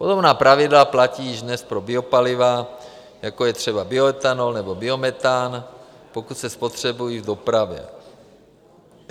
Podobná pravidla platí již dnes pro biopaliva, jako je třeba bioetanol nebo biometan, pokud se spotřebují v dopravě.